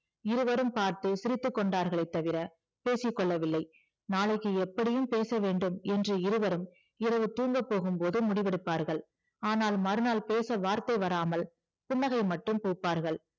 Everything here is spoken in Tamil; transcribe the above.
இருவரும் பார்த்து சிரித்துக்கொண்டார்களே தவிர பேசிக்கொள்ளவில்லை நாளைக்கு எப்படியும் பேசவேண்டும் என்று இருவரும் இரவு தூங்கப் போகும்போது முடிவெடுப்பார்கள் ஆனால் மறுநாள் பேச வார்த்தை வராமல் புன்னகை மட்டும் பூப்பார்கள்